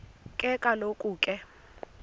ke kaloku ke